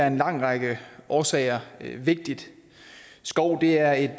en lang række årsager vigtig skov er et